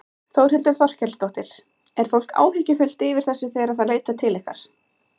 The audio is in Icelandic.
Þórhildur Þorkelsdóttir: Er fólk áhyggjufullt yfir þessu þegar það leitar til ykkar?